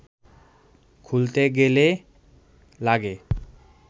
খুলতে গেলে লাগে